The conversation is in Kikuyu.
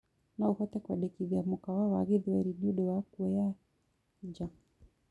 noũhote kuendekithĩa mũkawa wa gĩthweri ni undu wa kũoya nja